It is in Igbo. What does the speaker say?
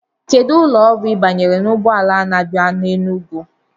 Kedu ụlọ ọrụ Ị banyere ụgbọala ha bịa Enugu?